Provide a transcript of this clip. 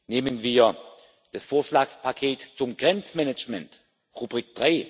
Nehmen wir das Vorschlagspaket zum Grenzmanagement, Rubrik